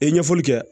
E ɲɛfɔli kɛ